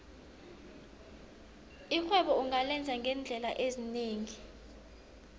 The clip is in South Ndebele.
irhwebo ungalenza ngeendlela ezinengi